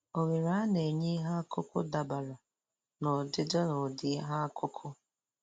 Ohere a na-enye ihe akụkụ dabere n'ọdịdị na ụdị ihe akụkụ